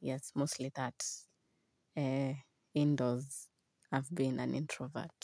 Yes, mostly that. Indoors I've been an introvert.